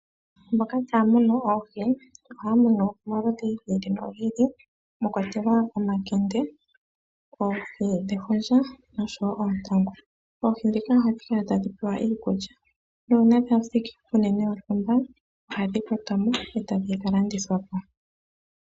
Mboka taa munu oohi ohaya mono omaludhi gi ili nogi ili mwa kwatelwa omakende, oohi dhefundja oshowo oontangu. Oohi dhika ohadhi kala tadhi pewa iikulya nuuna dha thiki puunene wontumba ohadhi kwatwa mo etadhi ka landithwa po.